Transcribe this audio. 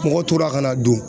Mɔgɔ tora ka n'a don